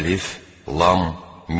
Əlif, Lam, Mim.